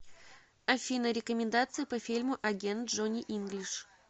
афина рекомендации по фильму агент джони инглиш